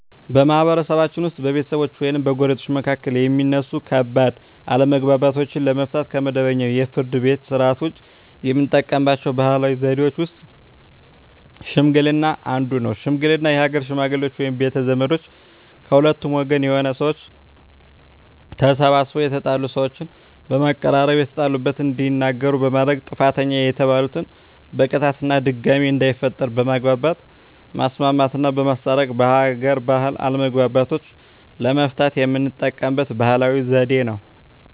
በማህበረሰብችን ውስጥ በቤተሰቦች ወይም በጎረቤቶች መካከል የሚነሱ ከባድ አለመግባባቶችን ለመፍታት (ከመደበኛው የፍርድ ቤት ሥርዓት ውጪ) የምንጠቀምባቸው ባህላዊ ዘዴዎች ውስጥ ሽምግልና አንዱ ነው። ሽምግልና የሀገር ሽመግሌዎች ወይም ቤተ ዘመዶች ከሁለቱም ወገን የሆኑ ሰዎች ተሰባስበው የተጣሉ ሰዎችን በማቀራረብ የተጣሉበትን እንዲናገሩ በማድረግ ጥፋተኛ የተባለን በቅጣት እና ድጋሜ እንዳይፈጠር በማግባባት ማስማማትና በማስታረቅ በሀገር ባህል አለመግባባቶችን ለመፍታት የምንጠቀምበት ባህላዊ ዘዴ ነው።